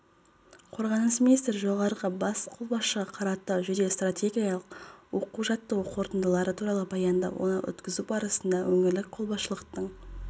қорғаныс министрі жоғарғы бас қолбасшыға қаратау жедел-стратегиялық оқу-жаттығуының қорытындылары туралы баяндап оны өткізу барысында өңірлік қолбасшылықтың